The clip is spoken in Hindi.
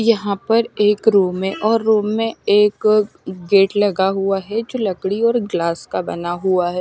यहाँ पर एक रूम है और रूम में एक गेट लगा हुआ है जो लकड़ी और ग्लास का बना हुआ है।